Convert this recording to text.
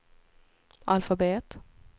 alfabet